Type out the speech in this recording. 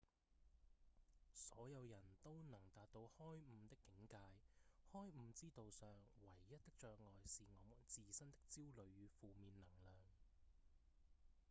所有人都能達到開悟的境界開悟之道上唯一的障礙是我們自身的焦慮與負面能量